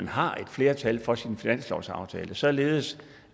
har et flertal for sin finanslovsaftale således